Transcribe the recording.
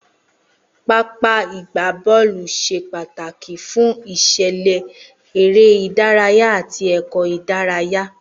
Pápá ìgbá bọọlu ṣé pàtàkì fún isele eré ìdárayá àti èkó idaraya